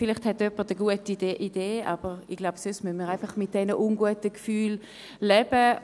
Vielleicht hat jemand eine gute Idee.